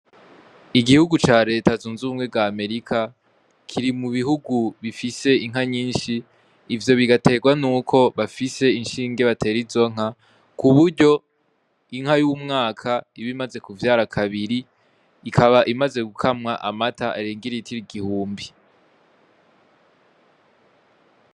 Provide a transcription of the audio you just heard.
Igihugu ca Leta zunze ubumwe Amerika, kiri mu bihugu bifise inka nyinshi, ivyo bugaye rwa nuko bafise inshinge batera izo nka , kuburyo inka y’umwaka iba imaze kuvyara kabiri ikaba imaze gukamwa amata arenga iritiro igihumbi.